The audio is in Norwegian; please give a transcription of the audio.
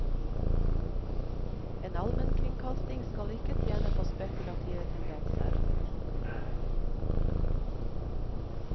En allmennkringkasting skal ikke tjene på spekulative tendenser.